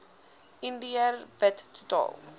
indiër wit totaal